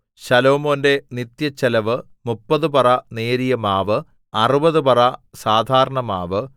ശലോമോന്റെ നിത്യച്ചെലവ് മുപ്പത് പറ നേരിയ മാവ് അറുപത് പറ സാധാരണമാവ്